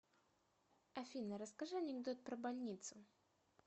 афина расскажи анекдот про больницу